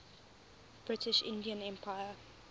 british indian empire